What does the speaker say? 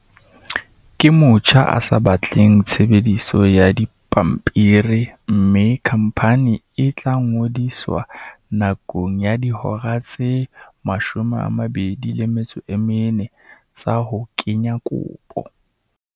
"Ke motjha o sa batleng tshebediso ya dipampiri mme khamphani e tla ngodiswa nakong ya dihora tse 24 tsa ho kenya kopo."